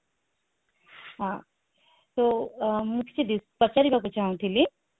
ହଁ so ମୁଁ କିଛି ପଚାରିବାକୁ ଚାହୁଁଥିଲି